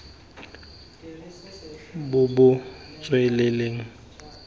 bo bo tswelelang ditlhopha tse